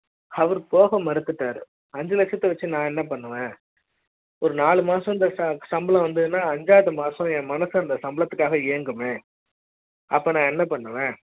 அவர் போக மறுத்தார் ஐந்து லட்சம் க்கு நான் என்ன பண்ணுவேன் மாசம் சம்பளம் வந்தது அஞ்சாவது மாசம் என் மனசு அந்த சம்பள த்துக்காக ஏங்குமே அப்போ நா என்ன பண்ணுவ